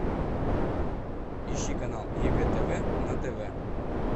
ищи канал егэ тв на тв